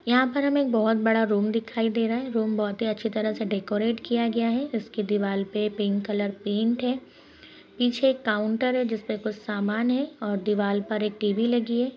यहाँ पर हमें एक बोहोत बड़ा रूम दिखाई दे रहा है। रूम बोहोत ही अच्छे तरह से डेकोरेट किया गया है। इसकी दीवाल पे पिंक कलर पेंट है। पीछे एक काउन्टर है जिसपे कुछ सामान है और दीवाल पर एक टीवी लगी है।